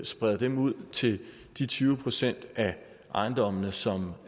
spreder dem ud til de tyve procent af ejendommene som